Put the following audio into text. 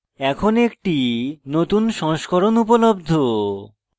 এখন একটি নতুন সংস্করণ উপলব্ধ